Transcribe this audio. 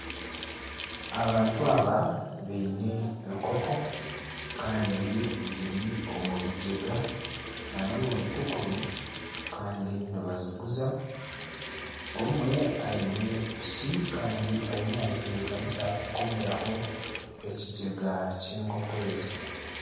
Abantu aba baine enkoko Kandi ziri omu bigyega nana omu bitukuru kandi nibaziguza. Omwe aine piki Kandi ariyo nagitebekanisa ku komeraho ekigyega ky'enkoko ezi.